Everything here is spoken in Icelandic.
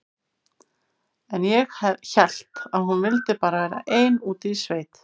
En ég hélt að hún vildi bara vera ein úti í sveit.